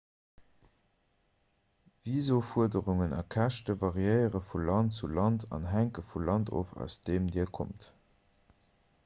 visaufuerderungen a käschte variéiere vu land zu land an hänke vum land of aus deem dir kommt